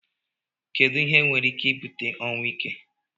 edu ihe nwere ike ibute ọnwụ ike?